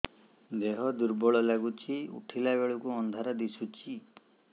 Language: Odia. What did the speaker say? ଦେହ ଦୁର୍ବଳ ଲାଗୁଛି ଉଠିଲା ବେଳକୁ ଅନ୍ଧାର ଦିଶୁଚି